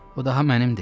O daha mənimdir.